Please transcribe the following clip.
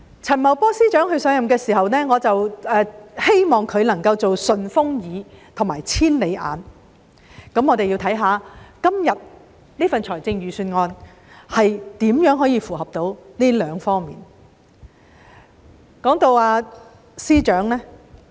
陳茂波司長上任的時候，我希望他能夠做"順風耳"和"千里眼"，我們看一看今天這份預算案如何做到這兩方面。